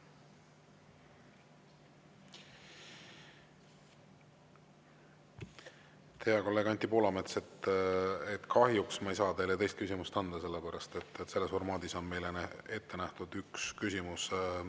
Hea kolleeg Anti Poolamets, kahjuks ma ei saa teile teist küsimust anda, sellepärast et selles formaadis on ette nähtud üks küsimus.